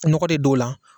Nɔgɔ de don o la